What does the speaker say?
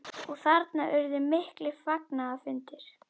Og þarna urðu miklir fagnaðarfundir?